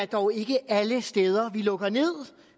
dog ikke er alle steder vi lukker ned